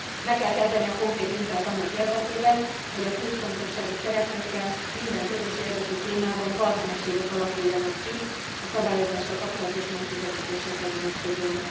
Meg kell kezdeni a konkrét munkát annak érdekében, hogy a kulcsfontosságú szereplőkkel minden közös érdekű témában partnerségek alakuljanak ki a szabályozással kapcsolatos megközelítésekre vonatkozóan.